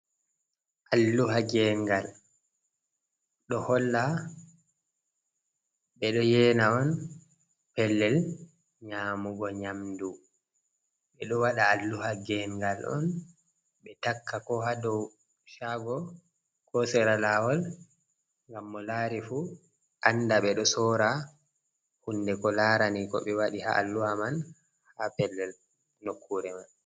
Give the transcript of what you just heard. Alluha ngegal ɗo holla ɓe ɗo yena on pellel nyamugo nyamdu. Ɓe ɗo waɗa alluha ngengal on ɓe takka ko haa dow shago, ko sera lawol, ngam mo lari fu anda ɓe ɗo soora hunde ko larani ko ɓe waɗi ha alluha man, haa pellel nokkure man.